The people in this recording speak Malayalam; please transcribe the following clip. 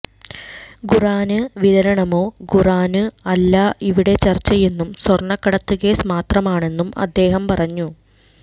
ഖുര്ആന് വിതരണമോ ഖുര്ആനോ അല്ല ഇവിടെ ചര്ച്ചയെന്നും സ്വര്ണക്കടത്ത് കേസ് മാത്രമാണെന്നും അദ്ദേഹം പറഞ്ഞു